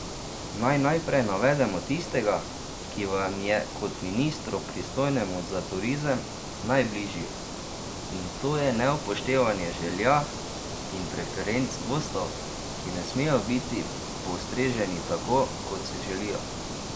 Naj najprej navedemo tistega, ki vam je kot ministru, pristojnemu za turizem, najbližji, in to je neupoštevanje želja in preferenc gostov, ki ne smejo biti postreženi tako, kot si želijo.